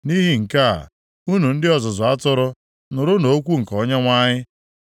“ ‘Nʼihi nke a, unu ndị ọzụzụ atụrụ, nụrụnụ okwu nke Onyenwe anyị: